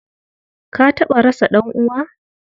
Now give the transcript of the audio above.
Ka taɓa rasa ɗan'uwa?